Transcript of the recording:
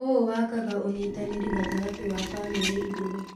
ũũ wakaga ũnyitanĩri gatagatĩ w bamĩrĩ igĩrĩ.